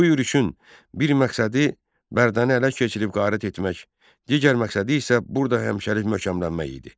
Bu yürüşün bir məqsədi Bərdəni ələ keçirib qarət etmək, digər məqsədi isə burda həmişəlik möhkəmlənmək idi.